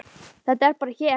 Þetta er bara hér.